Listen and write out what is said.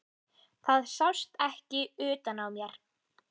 Það sást ekki utan á mér.